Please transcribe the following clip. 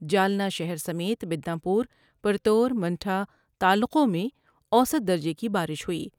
جالنہ شہر سمیت بدناپور ، پرتور منٹھا تعلقوں میں اوسط درجے کی بارش ہوئی ۔